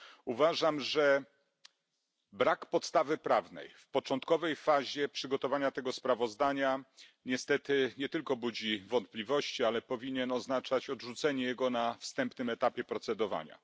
Uważam, że brak podstawy prawnej w początkowej fazie przygotowania tego sprawozdania, niestety nie tylko budzi wątpliwości, ale powinien oznaczać odrzucenie go na wstępnym etapie procedowania.